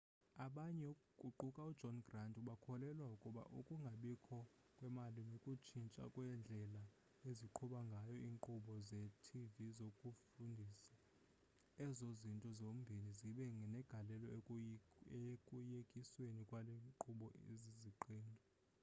abanye kuquka ujohn grant bakholelwa ukuba ukungabikho kwemali nokutshintsha kwendlela eziqhuba ngayo iinkqubo zetv zokufundisa ezo zinto zombini zibe negalelo ekuyekisweni kwale nkqubo iziziqendu